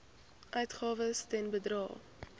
uitgawes ten bedrae